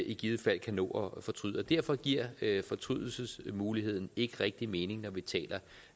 i givet fald kan nå at fortryde og derfor giver fortrydelsesmuligheden ikke rigtig mening når vi taler